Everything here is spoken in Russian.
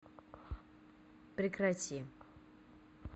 прекрати